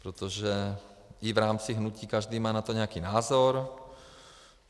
Protože i v rámci hnutí každý má na to nějaký názor.